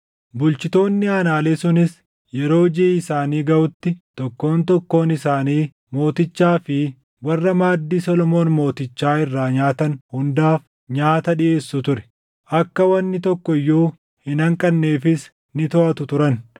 Bulchitoonni aanaalee sunis yeroo jiʼi isaanii gaʼutti tokkoon tokkoon isaanii mootichaa fi warra maaddii Solomoon mootichaa irraa nyaatan hundaaf nyaata dhiʼeessu ture. Akka wanni tokko iyyuu hin hanqanneefis ni toʼatu turan.